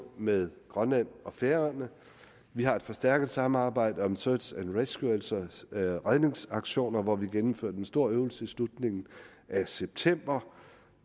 med grønland og færøerne vi har et forstærket samarbejde om search and rescue altså redningsaktioner hvor vi gennemførte en stor øvelse i slutningen af september